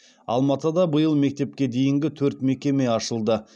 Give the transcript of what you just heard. алматыда биыл мектепке дейінгі төрт мекеме ашылды